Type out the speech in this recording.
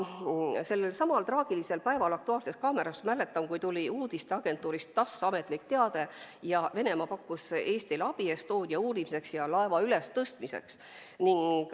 Ma mäletan, et sellelsamal traagilisel päeval tuli "Aktuaalsesse kaamerasse" uudisteagentuurist TASS ametlik teade, et Venemaa pakkus Eestile abi Estonia uurimiseks ja laeva ülestõstmiseks.